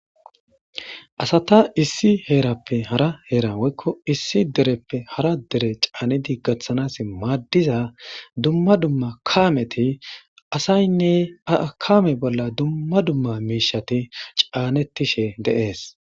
Asatha issi heerappe hara heeraa woykko issi dereppe hara dere caanidi gaththanaassi maaddiza dumma dumma kaamethiasaynne ha kaame bolla dumma dumma miishshathi caaneththishee de7ees.